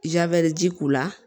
Jabɛti k'u la